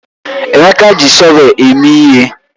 Emeka ji shọvel eme ihe.